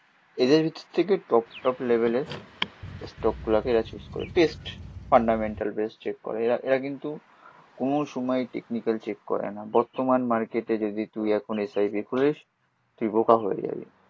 এদের থেকে top top লেভেলের স্টক গুলোকে এরা চুস করে, বেস্ট ফান্ডামেন্টাল বেস চেক করে। এরা এরা কিন্তু কোনো সময় টেকনিক্যাল চেক করেনা, বর্তমান মার্কেটে যদি তুই এখন এস আই পি খুলিস তুই বোকা হয়ে যাবি।